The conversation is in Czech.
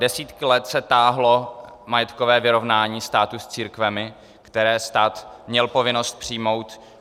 Desítky let se táhlo majetkové vyrovnání státu s církvemi, které stát měl povinnost přijmout.